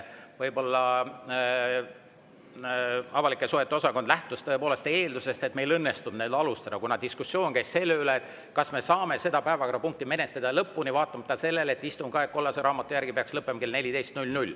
Võib-olla avalike suhete osakond lähtus eeldusest, et meil õnnestub alustada, kuna diskussioon käis selle üle, kas me saame seda päevakorrapunkti menetleda lõpuni vaatamata sellele, et istungi aeg peaks kollase raamatu järgi lõppema kell 14.